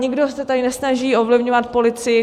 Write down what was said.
Nikdo se tady nesnaží ovlivňovat policii.